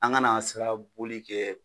An kana sira boli kɛ